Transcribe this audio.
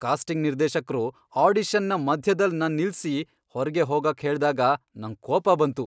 Casting ನಿರ್ದೇಶಕ್ರು ಆಡಿಷನ್ನ ಮಧ್ಯದಲ್ ನನ್ ನಿಲ್ಸಿ ಹೊರ್ಗೆ ಹೋಗಾಕ್ ಹೇಳ್ದಾಗ ನಂಗ್ ಕೋಪ ಬಂತು.